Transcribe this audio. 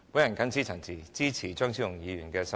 我謹此陳辭，支持張超雄議員的修正案。